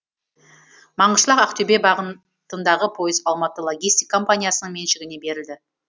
маңғышлақ ақтөбе бағытындағы пойыз алматы логистик компаниясының меншігіне берілді